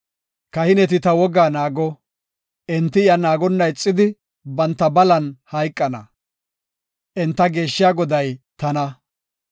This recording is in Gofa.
“Kahineti ta wogaa naago; enti iya naagonna ixidi banta balan hayqana. Enta geeshshiya Goday tana.